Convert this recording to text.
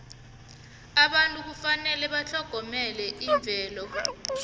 abantu kufanele batlhogomele imvelo